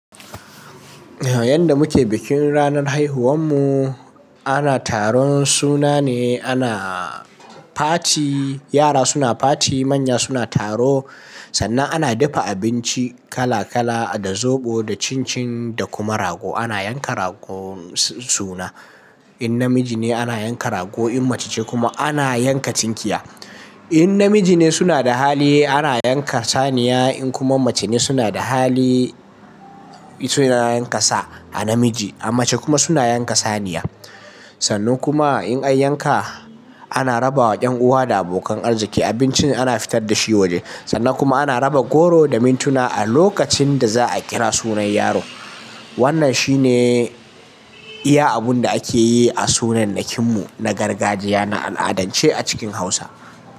Yadda muke bikin ranar haihuwar mu ana taron suna ne, ana party, yara suna party, manya suna taro. Sannan ana dafa abinci kala- kala da zoɓo, da cincin da kuma rago. Ana yanka rago suna. Idan namiji ne ana yanka rago, idan kuma mace ce kuma ana yanka tinkiya. Idan namiji ne suna da hali ana yanka saniya, idan kuma mace ce suna da hali suna yanka sa a namiji, a mace kuma suna yanka saniya. Sannan kuma indan an yanka ana rabawa yan uwa da abokan arziki. Abincin ana fitar da shi waje sannan kuma ana raba goro da minti a lokacin da za a kira sunan yaro. Wannan shi ne iya abin da ake yi a bikin suna mu na gargajiya a al'adance a cikin Hausa.